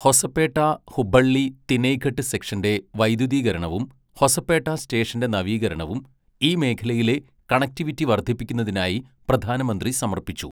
ഹൊസപേട്ട ഹുബ്ബള്ളി തിനൈഘട്ട് സെക്ഷന്റെ വൈദ്യുതീകരണവും ഹൊസപേട്ട സ്റ്റേഷന്റെ നവീകരണവും ഈ മേഖലയിലെ കണക്റ്റിവിറ്റി വർധിപ്പിക്കുന്നതിനായി പ്രധാനമന്ത്രി സമർപ്പിച്ചു.